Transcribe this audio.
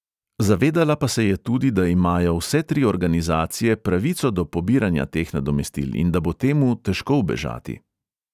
Zavedala pa se je tudi, da imajo vse tri organizacije pravico do pobiranja teh nadomestil in da bo temu težko ubežati.